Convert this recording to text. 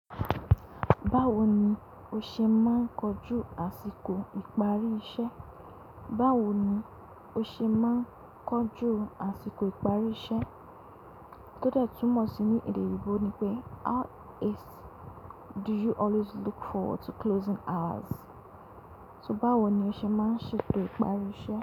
Báwo ni o ṣe máa ń kojú àsìkò ìparí iṣẹ́? Báwo ni o ṣe máa ń kojú àsìkò ìparí iṣẹ́? Tótẹ̀ túmọ̀ sí ní èdè oyinbo ni pé how do you always look forward to closing hours? So báwo ni o ṣe máa ń ṣètò ìparí iṣẹ́?